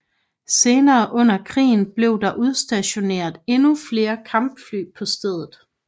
Senere under krigen blev der udstationeret endnu flere kampfly på stedet